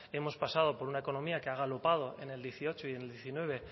hemos pasado por una economía que ha galopado en el dieciocho y el diecinueve